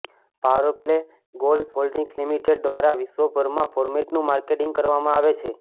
powerplay golf holdings limited દ્વારા વિશ્વભરમાં ફોર્મેટનું માર્કેટિંગ કરવામાં આવે છે